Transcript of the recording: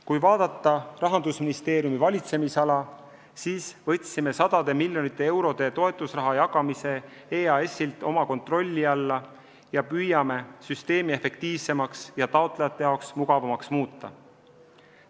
Kui vaadata Rahandusministeeriumi valitsemisala, siis võtsime sadade miljonite eurode toetusraha jagamise EAS-ilt oma kontrolli alla ja püüame süsteemi efektiivsemaks ja taotlejate jaoks mugavamaks muuta.